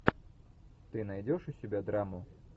ты найдешь у себя драму